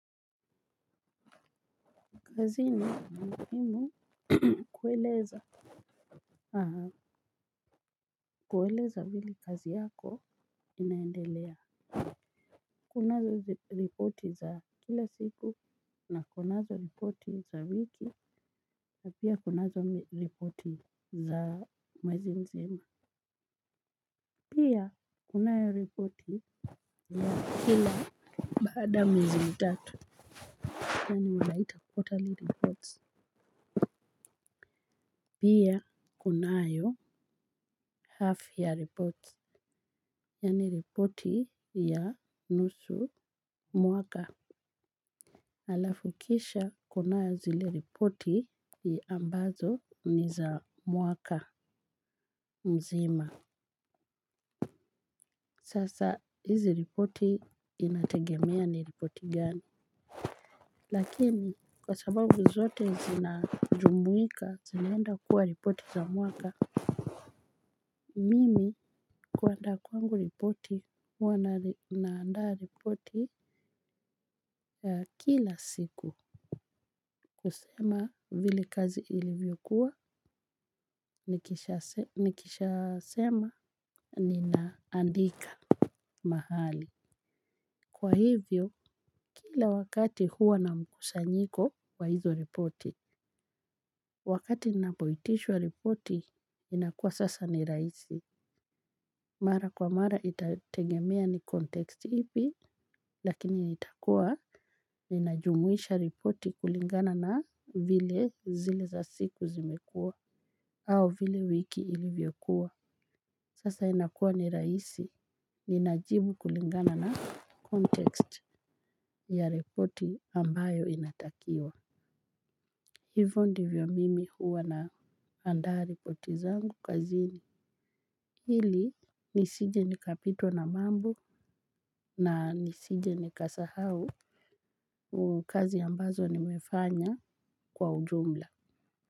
Kazini imu kueleza kueleza vile kazi yako inaendelea. Kunazo ripoti za kila siku na kunazo ripoti za wiki. Pia kunazo ripoti za mwezi mzima. Pia kunayo ripoti ya kila baada ya ya mwezi mtatu. Pia kunayo half-year reports. Yani ripoti ya nusu mwaka alafu kisha kuna zile ripoti ambazo ni za mwaka mzima. Sasa hizi ripoti inategemea ni ripoti gani. Lakini kwa sababu zote zinajumuika zinaenda kuwa ripoti za mwaka. Mimi kuandaa kwangu ripoti huwa naanda ripoti kila siku. Kusema vile kazi ilivyokuwa nikisha sema ninaandika mahali kwa hivyo kila wakati huwa na mkusanyiko wa hizo ripoti. Wakati napoitishwa ripoti inakuwa sasa ni raisi. Mara kwa mara itategemea ni konteksti ipi lakini nitakoa ninajumuisha ripoti kulingana na vile zile za siku zimekua au vile wiki ilivyokuwa sasa inakua ni raisi ninajibu kulingana na kontekst ya reporti ambayo inatakiwa. Hivo ndivyo mimi huwa na andaa reporti zangu kazini. Hili nisije ni kapitwa na mambo na nisije nikasahau ukazi ambazo nimefanya kwa ujumla.